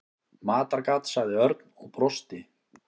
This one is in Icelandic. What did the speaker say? Matargat sagði Örn og brosti.